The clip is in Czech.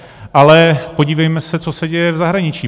Ale podívejme se, co se děje v zahraničí.